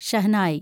shehnai